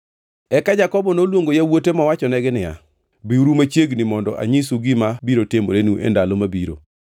Eka Jakobo noluongo yawuote mowachonegi niya, “Biuru machiegni mondo anyisu gima biro timorenu e ndalo mabiro.